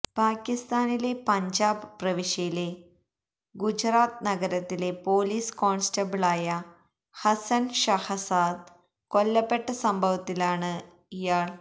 പാക്കിസ്ഥാനിലെ പഞ്ചാബ് പ്രവിശ്യയിലെ ഗുജ്റത്ത് നഗരത്തിലെ പൊലീസ് കോൺസ്റ്റബിളായ ഹസ്സൻ ഷഹസാദ് കൊല്ലപ്പെട്ട സംഭവത്തിലാണ് ഇയ